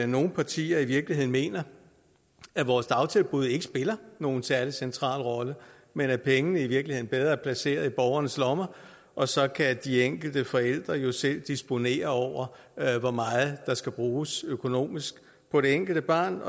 nogle partier i virkeligheden mener at vores dagtilbud ikke spiller nogen særlig central rolle men at pengene i virkeligheden er bedre placeret i borgernes lommer og så kan de enkelte forældre jo selv disponere over hvor meget der skal bruges økonomisk på det enkelte barn